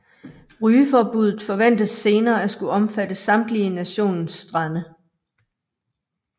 Rygeforbuddet forventes senere at skulle omfatte samtlige nationens strande